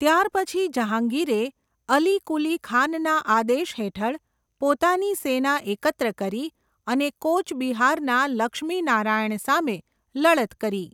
ત્યારપછી જહાંગીરે અલી કુલી ખાનના આદેશ હેઠળ પોતાની સેના એકત્ર કરી અને કોચ બિહારના લક્ષ્મી નારાયણ સામે લડત કરી.